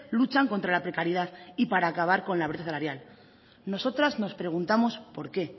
luchan contra la precariedad y para acabar con la brecha salarial nosotras nos preguntamos por qué